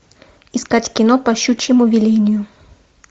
искать кино по щучьему велению